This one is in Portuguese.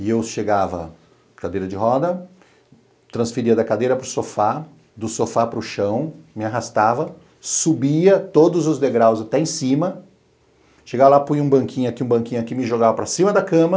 E eu chegava, cadeira de roda, transferia da cadeira para o sofá, do sofá para o chão, me arrastava, subia todos os degraus até em cima, chegava lá, punha um banquinho aqui, um banquinho aqui, me jogava para cima da cama,